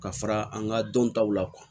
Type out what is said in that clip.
Ka fara an ka dɔntaw la kuwa